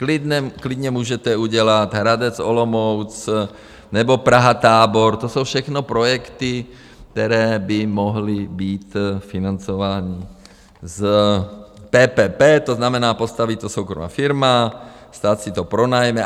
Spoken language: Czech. Klidně můžete udělat Hradec-Olomouc nebo Praha-Tábor, to jsou všechno projekty, které by mohly být financovány z PPP, to znamená, postaví to soukromá firma, stát si to pronajme.